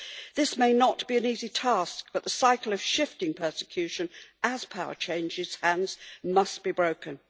This may not be an easy task, but the cycle of shifting persecution as power changes hands must be broken.